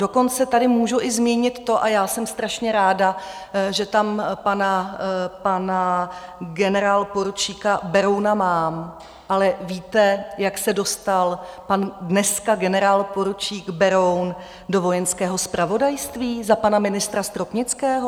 Dokonce tady můžu i zmínit to, a já jsem strašně ráda, že tam pana generálporučíka Berouna mám, ale víte, jak se dostal pan dneska generálporučík Beroun do Vojenského zpravodajství za pana ministra Stropnického?